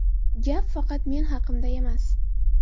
Gap faqat men haqimda emas.